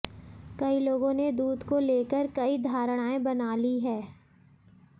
कई लोगों ने दूध को लेकर कई धारणाएं बना ली है